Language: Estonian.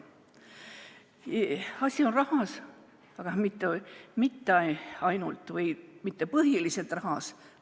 Asi on rahas, aga mitte ainult või mitte põhiliselt rahas.